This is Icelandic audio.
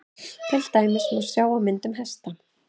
til dæmis má sjá á myndunum hesta